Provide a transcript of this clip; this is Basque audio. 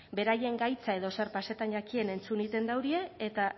beraien gaitza edo zer pasatan jakien entzun egiten daurie eta